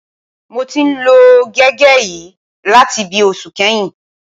Mo ti ń lo gègé yìí láti bíi oṣù kan sẹ́yìn